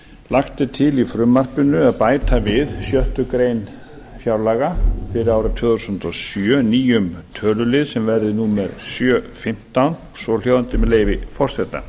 lagt er til í frumvarpinu að bæta við sjöttu grein fjárlaga fyrir árið tvö þúsund og sjö nýjum tölulið sem verði númer sjö fimmtán svohljóðandi með leyfi forseta